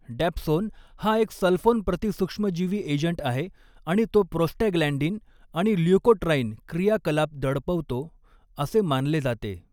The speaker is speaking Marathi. डॅप्सोन हा एक सल्फोन प्रतीसुक्ष्मजीवी एजंट आहे आणि तो प्रोस्टॅग्लॅंन्डिन आणि ल्युकोट्राईन क्रियाकलाप दडपवतो असे मानले जाते.